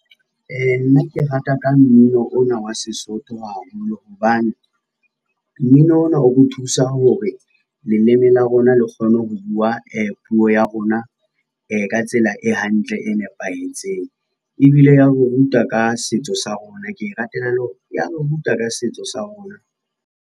Nna ke rata ka mmino ona wa Sesotho haholo hobane, mmino ona o bo thusa hore leleme la rona le kgone ho bua puo ya rona ka tsela e hantle, e nepahetseng. Ebile ya re ruta ka setso sa rona, ke e ratela le hore ya re ruta ka setso sa rona.